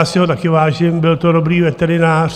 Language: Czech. Já si ho také vážím, byl to dobrý veterinář.